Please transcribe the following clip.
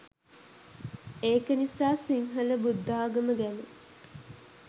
ඒකනිසා සිංහල බුද්දාගම ගැන